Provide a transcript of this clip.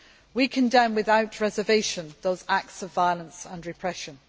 We condemn without reservation those acts of violence and repression.